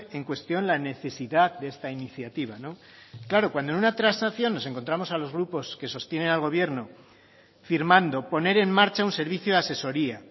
en cuestión la necesidad de esta iniciativa claro cuando en una transacción nos encontramos a los grupos que sostienen al gobierno firmando poner en marcha un servicio de asesoría